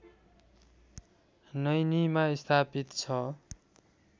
नैनीमा स्थापित छ